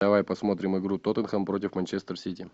давай посмотрим игру тоттенхэм против манчестер сити